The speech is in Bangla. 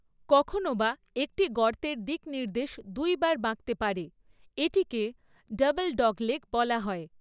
কখনও বা একটি গর্তের দিকনির্দেশ দুইবার বাঁকতে পারে, এটিকে 'ডাবল ডগলেগ' বলা হয়।